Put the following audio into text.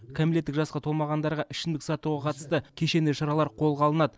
кәмелеттік жасқа толмағандарға ішімдік сатуға қатысты кешенді шаралар қолға алынады